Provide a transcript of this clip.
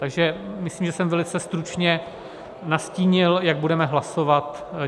Takže myslím, že jsem velice stručně nastínil, jak budeme hlasovat.